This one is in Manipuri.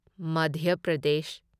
ꯃꯥꯙ꯭ꯌ ꯄ꯭ꯔꯗꯦꯁ